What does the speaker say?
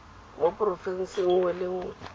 mo porofenseng nngwe le nngwe